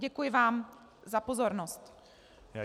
Děkuji vám za pozornost.